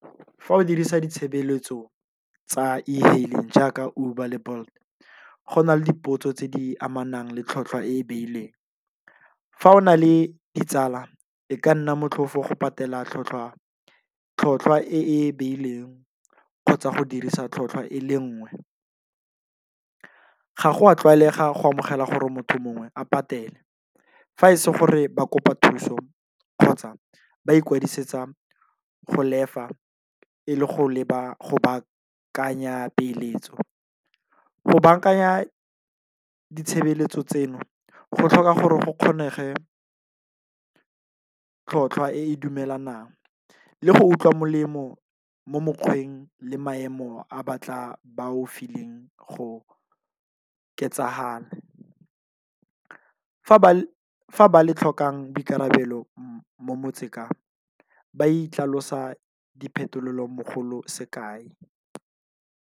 Fa o dirisa ditshebeletso tsa e-hailing jaaka Uber le Bolt go na le dipotso tse di amanang le tlhotlhwa e e beileng. Fa o na le ditsala e ka nna motlhofo go patela tlhotlhwa e beileng kgotsa go dirisa tlhotlhwa e le nngwe. Ga go a tlwaelega go amogela gore motho mongwe a patele fa se gore ba kopa thuso kgotsa ba ikwadisetsa go lefa e le go leba go baakanya peeletso. Go bankanya ditshebeletso tseno go tlhoka gore go kgonege tlhotlhwa e e dumelanang le go utlwa molemo mo mokgweng le maemo a batla bao fileng go . Fa ba le tlhokang boikarabelo mo motseng ka ba itlhalosa diphetolo mogolo se kae.